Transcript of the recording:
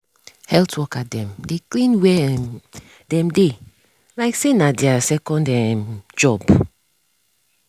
health worker dem dey clean where um dem dey like say na their second um job.